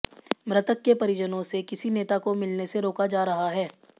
मृतक के परिजनों से किसी नेता को मिलने से रोका जा रहा है